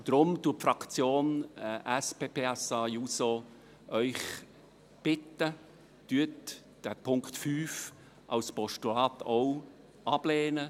Deshalb bittet die SP-JUSO-PSA-Fraktion Sie, den Punkt 5 auch als Postulat abzulehnen.